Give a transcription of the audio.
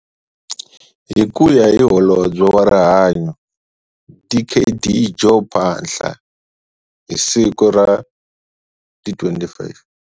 Hi ku ya hi Holobye wa Rihanyo Dkd Joe Phaahla, hi siku ra 25.